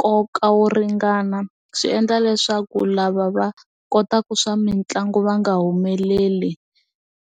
nkoka wo ringana swi endla leswaku lava va kotaka swa mitlangu va nga humeleli.